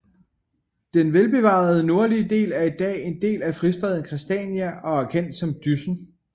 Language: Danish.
Den velbevarede nordlige del er i dag en del af fristaden Christiania og er kendt som Dyssen